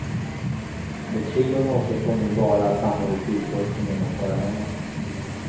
För trion återstår nu bara att samla ihop utrustningen och fara hemåt.